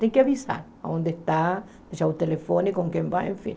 Tem que avisar onde está, deixar o telefone, com quem vai, enfim.